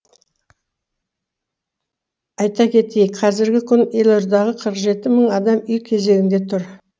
айта кетейік қазіргі күні елордағы қырық жеті мың адам үй кезегінде тұр